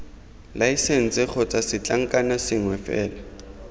laesense kgotsa setlankna sengwe fela